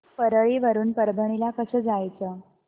परळी वरून परभणी ला कसं जायचं